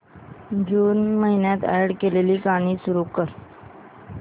जून महिन्यात अॅड केलेली गाणी सुरू कर